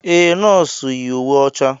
Ee, nọọsụ yi uwe ọcha.